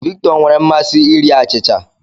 Victor nwere mmasị iri achịcha.